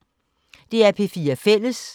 DR P4 Fælles